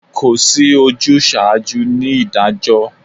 Kò sí ojúsaajú ni ìdájọ́